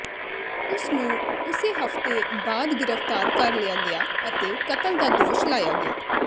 ਉਸ ਨੂੰ ਉਸੇ ਹਫਤੇ ਬਾਅਦ ਗ੍ਰਿਫਤਾਰ ਕਰ ਲਿਆ ਗਿਆ ਅਤੇ ਕਤਲ ਦਾ ਦੋਸ਼ ਲਾਇਆ ਗਿਆ